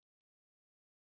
save